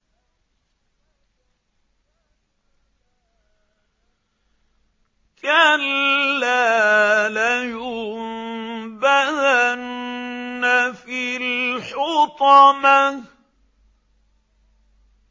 كَلَّا ۖ لَيُنبَذَنَّ فِي الْحُطَمَةِ